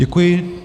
Děkuji.